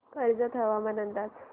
कर्जत हवामान अंदाज